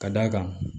Ka d'a kan